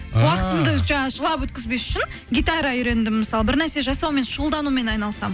жаңа жылап өткізбес үшін гитара үйрендім мысалы бір нәрсе жасаумен шұғылданумен айналысамын